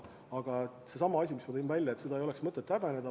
Aga seesama asi, mis ma enne välja tõin: ei ole mõtet seda tootmist häbeneda.